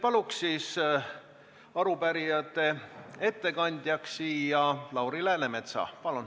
Palun siia arupärijate ettekandja Lauri Läänemetsa!